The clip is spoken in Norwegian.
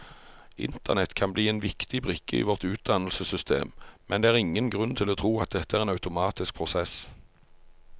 Internett kan bli en viktig brikke i vårt utdannelsessystem, men det er ingen grunn til å tro at dette er en automatisk prosess.